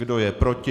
Kdo je proti?